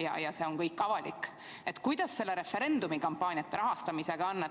ja see on kõik avalik, siis kuidas referendumi kampaania rahastamisega on?